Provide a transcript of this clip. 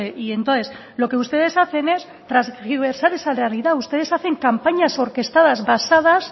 y entonces lo que ustedes hacen es tergiversar esa realidad ustedes hacen campañas orquestadas basadas